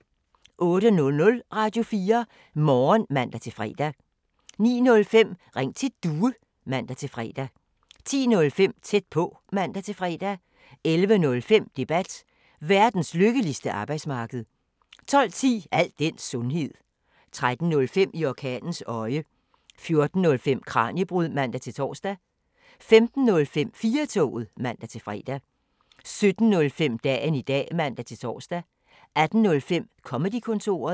06:00: Radio4 Morgen (man-fre) 09:05: Ring til Due (man-fre) 10:05: Tæt på (man-fre) 11:05: Debat: Verdens lykkeligste arbejdsmarked 12:10: Al den sundhed 13:05: I orkanens øje 14:05: Kraniebrud (man-tor) 15:05: 4-toget (man-fre) 17:05: Dagen i dag (man-tor) 18:05: Comedy-kontoret